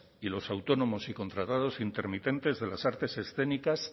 y los autónomos y contratados intermitentes de las artes escénicas